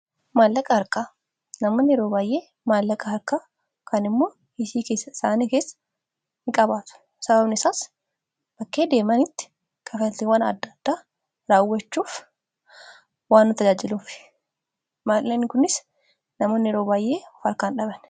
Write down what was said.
maallaqa harkaa namoon yeroo baayyee maallaqa harka kan immoo hishii keessa isaanii keessa in qabaatu sababne isaas bakkee deemanitti kafatiiwwan addada raawwachuuf waan nu tajaajiluuf maalai kunis namoon yeroo baayyee uf arkaan dhaban